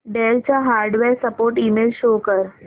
del चा hardware support email show कर